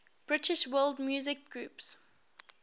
british world music groups